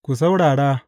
Ku saurara!